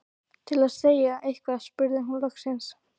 Til að segja eitthvað spurði hún loks